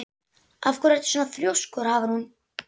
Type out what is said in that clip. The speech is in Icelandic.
Af hverju ertu svona þrjóskur, Hafrún?